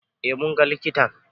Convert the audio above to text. Eh, munga likitan